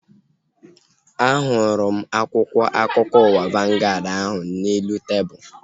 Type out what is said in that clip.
A hụrụ m akwụkwọ akụkọ ụwa vangaad ahu n'elu tebụlu